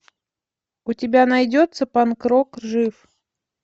у тебя найдется панк рок жив